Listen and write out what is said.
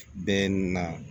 Bɛɛ na